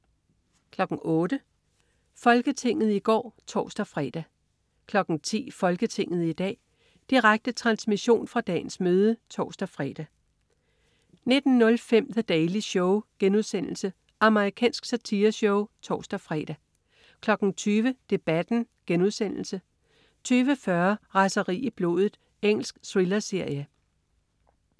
08.00 Folketinget i går (tors-fre) 10.00 Folketinget i dag. Direkte transmission fra dagens møde (tors-fre) 19.05 The Daily Show.* Amerikansk satireshow (tors-fre) 20.00 Debatten* 20.40 Raseri i blodet. Engelsk thrillerserie